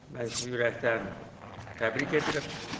Mən sizi ürəkdən təbrik edirəm.